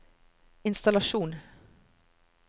innstallasjon